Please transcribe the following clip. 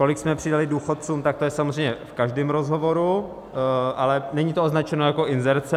Kolik jsme přidali důchodcům, tak to je samozřejmě v každém rozhovoru, ale není to označeno jako inzerce.